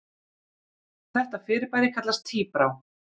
Þetta fyrirbæri kallast tíbrá.